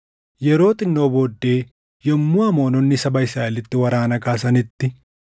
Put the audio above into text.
Yeroo xinnoo booddee, yommuu Amoononni saba Israaʼelitti waraana kaasanitti,